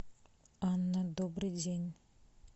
анна добрый день